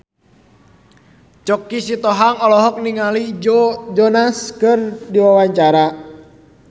Choky Sitohang olohok ningali Joe Jonas keur diwawancara